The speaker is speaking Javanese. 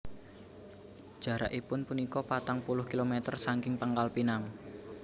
Jarakipun punika patang puluh kilometer sangking Pangkalpinang